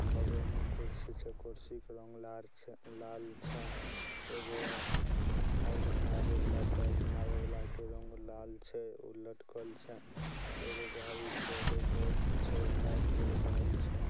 बगल में कुर्सी छे। कुर्सी के रंग लार छ- लाल छे। एगो-ओ हाय हाय निहाय वाला छे। एगो निहाय वाला के रंग लाल छे उलट कल छे एगो घरी छ एको भोट छे एगो लाइट वाइट रहल--